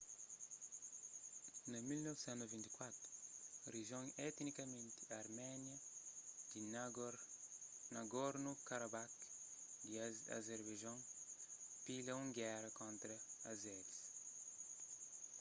na 1994 rijion etnikamenti arménia di nagorno-karabakh di azerbaijon pila un géra kontra azeris